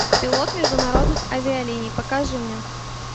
пилот международных авиалиний покажи мне